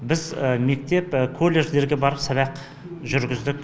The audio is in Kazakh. біз мектеп колледждерге барып сабақ жүргіздік